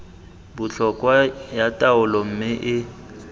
botlhokwa ya taolo mme e